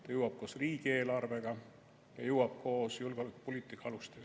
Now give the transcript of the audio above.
See jõuab koos riigieelarvega ja jõuab koos julgeolekupoliitika alustega.